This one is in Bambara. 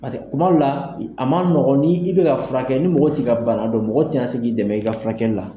Paseke kuma dɔ la a ma nɔgɔn, ni i bɛka furakɛ ni mɔgɔ t'i ka bana dɔn, mɔgɔ tɛna se k'i dɛmɛ i ka furakɛli la.